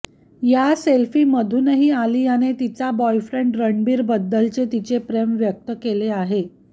या सेल्फीमधूनही आलियाने तिचा बॉयफ्रेंड रणबीरबद्दलचे तिचे प्रेम व्यक्त केले आहे